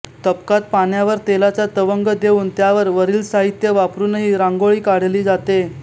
तबकात पाण्यावर तेलाचा तवंग देऊन त्यावर वरील साहित्य वापरूनही रांगोळी काढली जाते